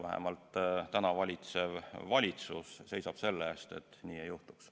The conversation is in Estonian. Vähemalt täna valitsev valitsus seisab selle eest, et nii ei juhtuks.